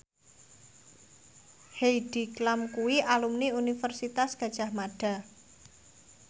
Heidi Klum kuwi alumni Universitas Gadjah Mada